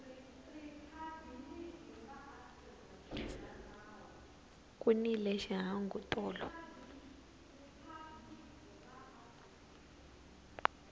ku nile xihangu tolo